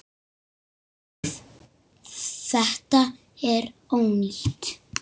Þetta er ónýtt.